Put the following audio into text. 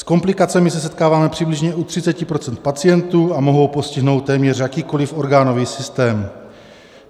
S komplikacemi se setkáváme přibližně u 30 % pacientů a mohou postihnout téměř jakýkoliv orgánový systém.